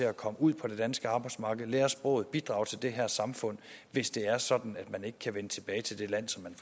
at komme ud på det danske arbejdsmarked lære sproget bidrage til det her samfund hvis det er sådan at man ikke kan vende tilbage til det land